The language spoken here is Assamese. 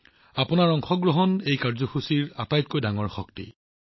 আপোনালোকৰ অংশগ্ৰহণ হৈছে এই কাৰ্যসূচীৰ আটাইতকৈ ডাঙৰ শক্তি